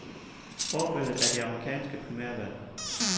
Forbilledet er de amerikanske primærvalg.